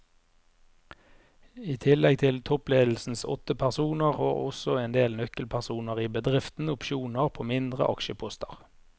I tillegg til toppledelsens åtte personer har også en del nøkkelpersoner i bedriften opsjoner på mindre aksjeposter.